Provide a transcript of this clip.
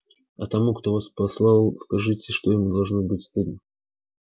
а тому кто вас послал скажите что ему должно быть стыдно